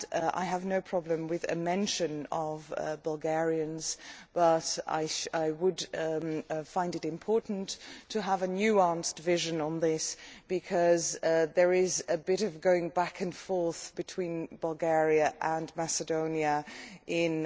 I have no problem with a mention of Bulgarians but I would find it important to have a nuanced vision on this because there is a bit of going back and forth between Bulgaria and Macedonia in